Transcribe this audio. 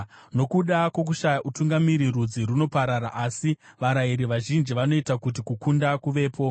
Nokuda kwokushaya utungamiri rudzi runoparara, asi varayiri vazhinji vanoita kuti kukunda kuvepo.